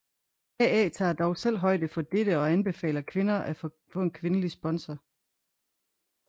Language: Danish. AA tager dog selv højde for dette og anbefaler kvinder at få en kvindelig sponsor